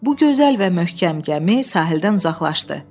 Bu gözəl və möhkəm gəmi sahildən uzaqlaşdı.